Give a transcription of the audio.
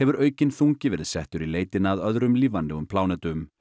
aukinn þungi verið settur í leitina að öðrum lífvænlegum plánetum